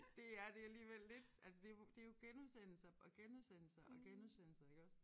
DR det alligevel lidt altså det jo det jo genudsendelser og genudsendelser og genudsendelser iggås